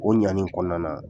O ɲani kɔnɔna na